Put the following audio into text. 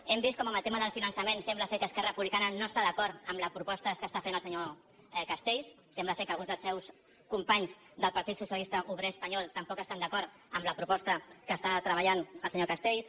hem vist com en el tema del finançament sembla que esquerra republicana no està d’acord amb les propostes que fa el senyor castells sembla que alguns dels seus companys del partit socialista obrer espanyol tam poc estan d’acord amb la proposta que està treballant el senyor castells